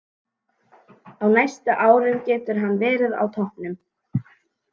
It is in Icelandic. Á næstu árum getur hann verið á toppnum.